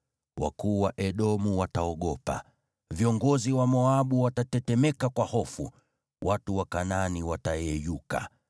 Wakuu wa Edomu wataogopa, viongozi wa Moabu watatetemeka kwa hofu, watu wa Kanaani watayeyuka,